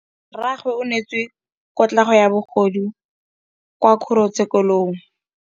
Rragwe o neetswe kotlhaô ya bogodu kwa kgoro tshêkêlông.